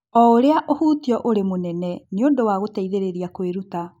o ũrĩa ũhutio ũrĩ mũnene nĩ ũndũ wa gũteithĩrĩria kwĩruta.